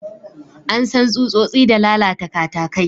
An san tsutsotsi da lalata katakai.